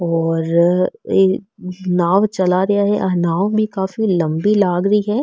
और ये नाव चला रिया है आ नाव भी काफी लम्बी लाग री है।